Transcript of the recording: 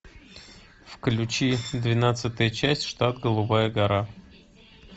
включи двенадцатая часть штат голубая гора